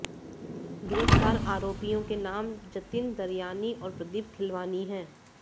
गिरफ्तार आरोपीयों के नाम जतिन दरयानी और प्रदीप खिलवानी है